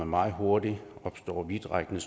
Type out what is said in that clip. meget hurtigt opstå vidtrækkende